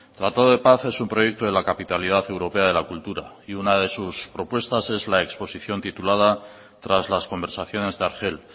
tratado de paz es un proyecto de la capitalidad europea de la cultura y una de sus propuestas es la exposición titulada tras las conversaciones de argel